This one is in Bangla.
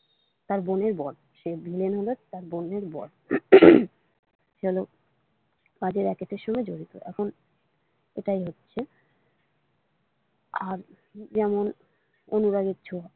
তার বোনের বর সে ভিলেন হলো তার বোনের বর উম সে হলো বাজে রেজেকেরের সঙ্গে জড়িত এখন এটাই হচ্ছে আর যেমন অনুরাগের ছোঁয়া।